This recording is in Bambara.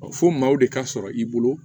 Fo maaw de ka sɔrɔ i bolo